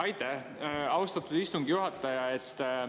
Aitäh, austatud istungi juhataja!